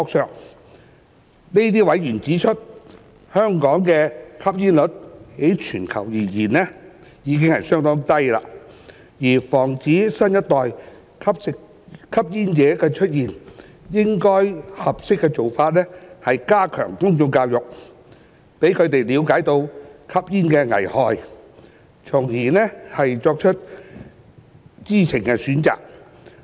這些委員指出，香港的吸煙率在全球而言已是相當低，而防止新一代的吸煙者出現，合適的做法應是加強公眾教育，讓他們了解吸煙的危害，從而作出知情選擇。